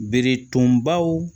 Bere tonbaw